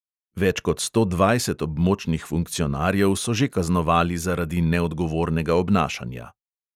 Več kot sto dvajset območnih funkcionarjev so že kaznovali zaradi neodgovornega obnašanja.